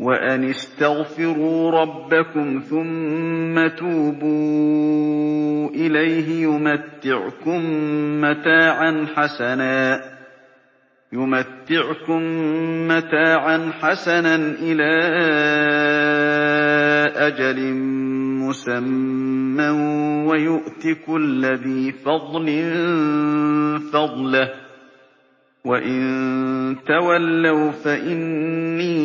وَأَنِ اسْتَغْفِرُوا رَبَّكُمْ ثُمَّ تُوبُوا إِلَيْهِ يُمَتِّعْكُم مَّتَاعًا حَسَنًا إِلَىٰ أَجَلٍ مُّسَمًّى وَيُؤْتِ كُلَّ ذِي فَضْلٍ فَضْلَهُ ۖ وَإِن تَوَلَّوْا فَإِنِّي